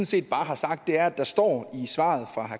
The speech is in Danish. set bare har sagt er at der står i svaret fra